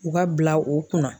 U ka bila o kunna.